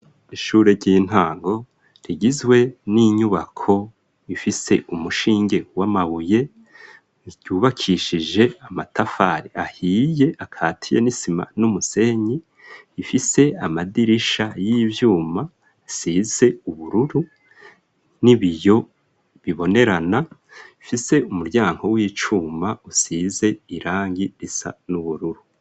Ishure ry'intango, rigizwe n'inyubako, ifise umushinge w'amabuye, ryubakishije amatafari ahiye, akatiya n'isima, n'umusenyi; ifise amadirisha y'ivyuma, asize ubururu, n'ibiyo bibonerana; ifise umuryango w'icuma, usize irangi, risa n'ubururu.